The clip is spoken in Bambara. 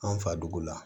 An fa dugu la